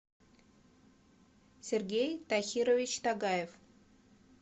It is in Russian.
сергей тахирович тагаев